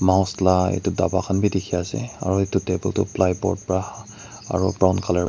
la itu daba khan bi dikhi ase aro itu table tu plyboard pra aru brown colour --